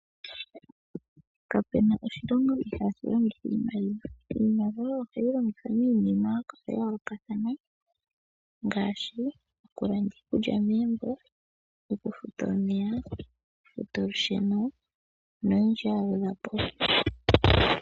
Kapuna oshilongo ihaashi longitha iimaliwa. Iimaliwa ohayi longithwa miinima ya yoolokathana ngaashi oku landa iikulya meembo, oku futa omeya, oku futa olusheno noyindji ya gwedhwa po.